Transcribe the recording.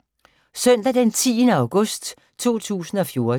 Søndag d. 10. august 2014